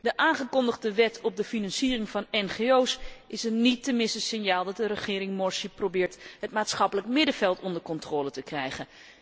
De aangekondigde wet op de financiering van ngo's is een niet te missen signaal dat de regering Morsi probeert het maatschappelijk middenveld onder controle te krijgen.